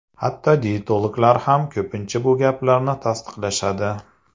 Hatto diyetologlar ham ko‘pincha bu gaplarni tasdiqlashadi.